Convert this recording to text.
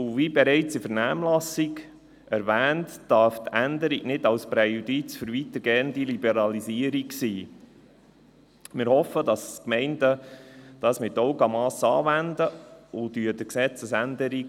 Zudem darf die Änderung kein Präjudiz für eine weitergehende Liberalisierung sein, wie bereits in der Vernehmlassung erwähnt.